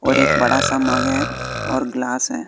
और एक बड़ा सा मग है और ग्लास है।